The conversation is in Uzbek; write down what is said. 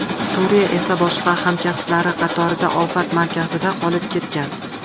Turiya esa boshqa hamkasblari qatorida ofat markazida qolib ketgan.